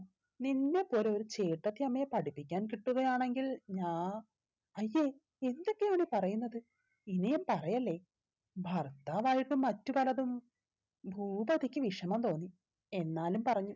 നിന്നെപ്പോലെ ഒരു ചേട്ടത്തിയമ്മയെ പഠിപ്പിക്കാൻ കിട്ടുകയാണെങ്കിൽ ഞാ അയ്യേ എന്തൊക്കെയാണ് പറയുന്നത് ഇങ്ങനെ പറയല്ലേ ഭർത്താവായിട്ട് മറ്റു പലതും ഭൂപതിക്ക് വിഷമം തോന്നും എന്നാലും പറഞ്ഞു